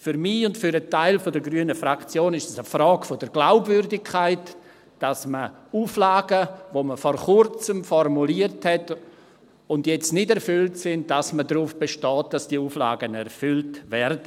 Für mich und einen Teil der grünen Fraktion ist es eine Frage der Glaubwürdigkeit, dass man darauf besteht, dass Auflagen, die man vor Kurzem formuliert hat und die jetzt nicht erfüllt sind, erfüllt werden.